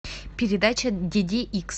передача диди икс